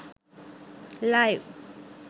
live